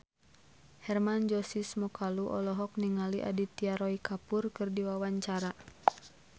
Hermann Josis Mokalu olohok ningali Aditya Roy Kapoor keur diwawancara